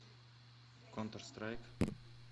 контр страйк